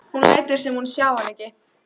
Hún lætur sem hún sjái hann ekki.